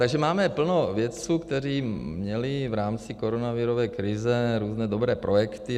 Takže máme plno vědců, kteří měli v rámci koronavirové krize různé dobré projekty.